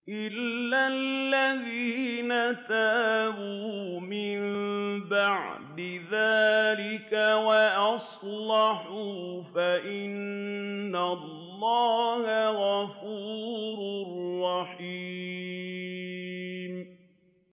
إِلَّا الَّذِينَ تَابُوا مِن بَعْدِ ذَٰلِكَ وَأَصْلَحُوا فَإِنَّ اللَّهَ غَفُورٌ رَّحِيمٌ